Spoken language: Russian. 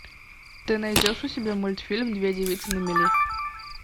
ты найдешь у себя мультфильм две девицы на мели